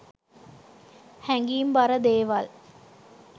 හැඟීම් බර දේවල්